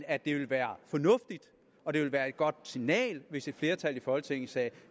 at det ville være fornuftigt og det ville være et godt signal hvis et flertal i folketinget sagde